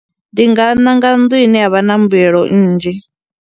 Ndi nga ṋanga nnḓu ine ya vha na mbuelo nnzhi.